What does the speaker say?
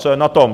Co je na tom?